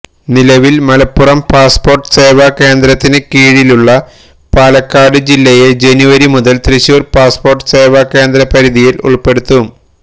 നിലവില് മലപ്പുറം പാസ്പോര്ട്ട് സേവാകേന്ദ്രത്തിന് കീഴിലുള്ള പാലക്കാട് ജില്ലയെ ജനുവരി മുതല് തൃശൂര് പാസ്പോര്ട്ട് സേവാകേന്ദ്രപരിധിയില് ഉള്പ്പെടുത്തും